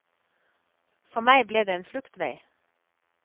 For meg ble det en fluktvei.